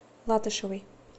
латышевой